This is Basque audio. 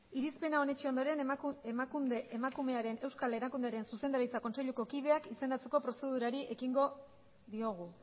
irizpena onetsi ondoren emakunde emakumearen euskal erakundearen zuzendaritza kontseiluko kideak izendatzeko prozedurari ekingo diogu